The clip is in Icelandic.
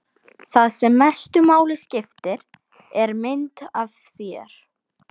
Það sem mestu máli skiptir er mynd af þér.